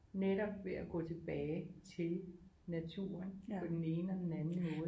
Netop ved at gå tilbage til naturen på den ene og den anden måde